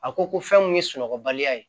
A ko ko fɛn mun ye sunɔgɔ baliya ye